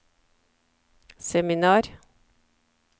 seminar